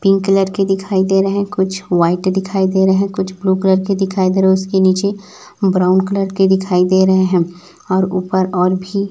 pink colour के दिखाई दे रहे है कुछ व्हाइट दिखाई दे रहे है कुछ ब्लू कलर के दिखाई दे रहे है उसके नीचे ब्राउन कलर के दिखाई दे रहे है और ऊपर और भी --